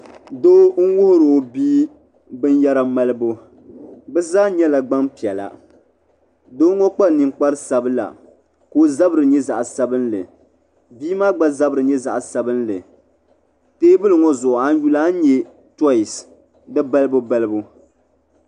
Doo n-wuhiri o bia binyɛra malibu bɛ zaa nyɛla gbampiɛla doo ŋɔ kpa ninkpara sabila ka o zabiri nyɛ zaɣ'sabinli bia maa gba zabiri nyɛ zaɣ'sabinli teebuli ŋɔ zuɣu a ni yuli a ni nya toyisi di balibubalibu.